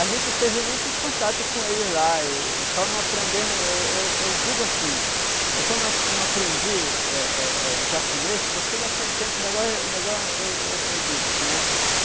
A gente teve muito contato com ele lá, e só não aprendemos, eu eu eu digo assim, eu só não não aprendi eh eh eh japonês, porque naquele tempo, o negó eh o negó eu eu eu disse, né?